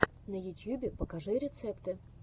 на ютьюбе покажи рецепты